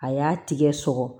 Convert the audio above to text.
A y'a tigɛ sɔgɔ